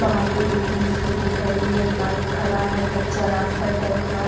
बाहर पे दो-तीन स्कूटी खड़ी है एक बाइक खड़ा है कच्चा रास्ता टाइप का--